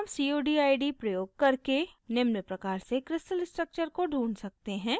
हम cod id प्रयोग करके निम्न प्रकार से crystal structure को ढूँढ सकते हैं: